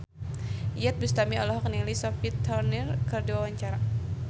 Iyeth Bustami olohok ningali Sophie Turner keur diwawancara